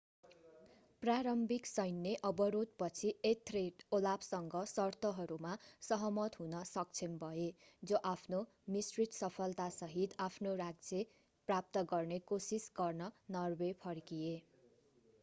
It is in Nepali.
प्रारम्भिक सैन्य अवरोधपछि एथर्रेड ओलाफसँग सर्तहरूमा सहमत हुन सक्षम भए जो आफ्नो मिश्रित सफलतासहित आफ्नो राज्य प्राप्त गर्ने कोसिस गर्न नर्वे फर्किए